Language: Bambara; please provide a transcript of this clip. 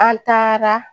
An taara